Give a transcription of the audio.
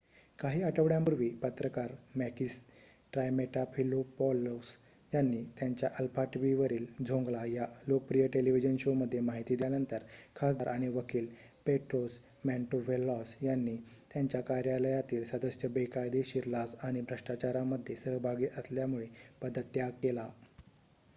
"काही आठवड्यांपूर्वी पत्रकार मॅकिस ट्रायमेटाफिलोपॉलोस यांनी त्यांच्या अल्फा टीव्हीवरील "झोंगला" या लोकप्रिय टेलिव्हिजन शोमध्ये माहिती दिल्यानंतर खासदार आणि वकील पेट्रोस मॅन्टोव्हेलॉस यांनी त्यांच्या कार्यालयातील सदस्य बेकायदेशीर लाच आणि भ्रष्टाचारामध्ये सहभागी असल्यामुळे पदत्याग केला.